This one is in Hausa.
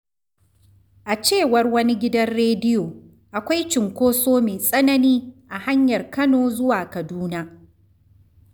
A cewar wani gidan rediyo, akwai cunkoso mai tsanani a hanyar Kano zuwa Kaduna.